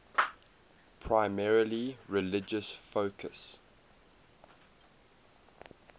primarily religious focus